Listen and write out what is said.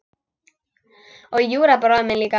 Og Júra bróðir minn líka.